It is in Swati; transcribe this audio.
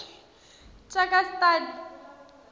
tjakastad